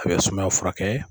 A bɛ sumaya furakɛ.